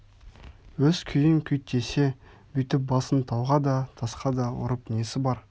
өз күйін күйттесе бүйтіп басын тауға да тасқа да ұрып несі бар